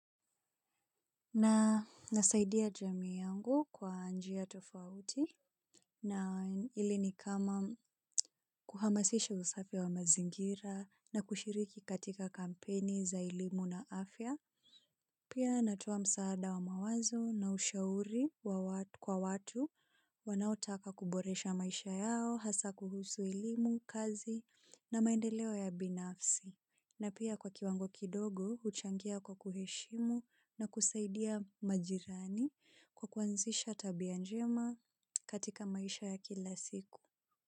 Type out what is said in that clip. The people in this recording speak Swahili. Na nasaidia jamii yangu kwa njia tofauti na ile ni kama kuhamasisha usafi wa mazingira na kushiriki katika kampeni za elimu na afya. Pia natoa msaada wa mawazo na ushauri kwa watu wanaotaka kuboresha maisha yao, hasa kuhusu elimu, kazi na maendeleo ya binafsi. Na pia kwa kiwango kidogo, huchangia kwa kuheshimu na kusaidia majirani kwa kuanzisha tabia njema katika maisha ya kila siku.